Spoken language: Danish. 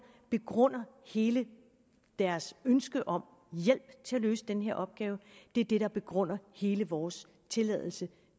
begrunder hele deres ønske om hjælp til at løse den her opgave det er det der begrunder hele vores tilladelse